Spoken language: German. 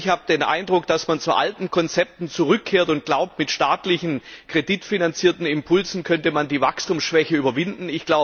Ich habe den Eindruck, dass man zu alten Konzepten zurückkehrt und glaubt, mit staatlichen kreditfinanzierten Impulsen könnte man die Wachstumsschwäche überwinden.